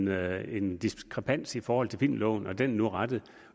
været en diskrepans i forhold til filmloven og den er nu rettet